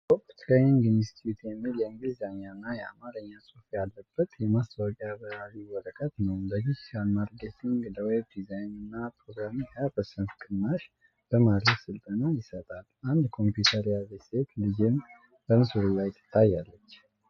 "ቶፕ ትሬኒንግ ኢንስቲትዩት" የሚል የእንግሊዝኛና የአማርኛ ጽሑፍ ያለበት የማስታወቂያ በራሪ ወረቀት ነው። ለዲጂታል ማርኬቲንግ፣ ለዌብ ዲዛይንና ፕሮግራሚንግ 25% ቅናሽ በማድረግ ስልጠና ይሰጣል። አንድ ኮምፒውተር የያዘች ሴት ልጅም በምስሉ ላይ ትታያለች።